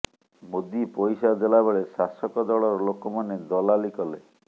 ମୋଦି ପଇସା ଦେଲାବେଳେ ଶାସକ ଦଳର ଲୋକମାନେ ଦଲାଲି କଲେ